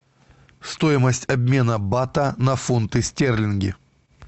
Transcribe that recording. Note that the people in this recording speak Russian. стоимость обмена бата на фунты стерлинги